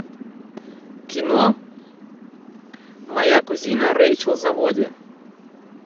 кино моя кузина рейчел заводи